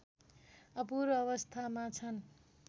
अपूरो अवस्थामा छन्